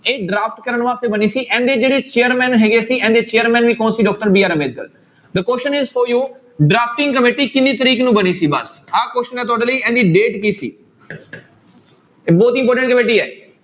ਇਹ draft ਕਰਨ ਵਾਸਤੇ ਬਣੀ ਸੀ ਇਹਦੇ ਜਿਹੜੇ chairman ਹੈਗੇ ਸੀ ਇਹਨਾਂ ਦੇ chairman ਵੀ ਕੌਣ ਸੀ doctor BR Ambedkar the question is for you drafting committee ਕਿੰਨੀ ਤਰੀਕ ਨੂੰ ਬਣੀ ਸੀ ਬਸ ਆਹ question ਹੈ ਤੁਹਾਡੇ ਲਈ ਇਹਦੀ date ਕੀ ਸੀ ਇਹ ਬਹੁਤ important ਕਮੇਟੀ ਹੈ।